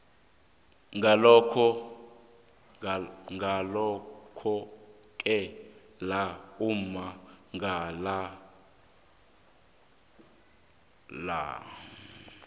ngalokhoke la ummangalelwa